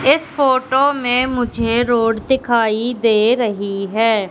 इस फोटो में मुझे रोड दिखाई दे रही है।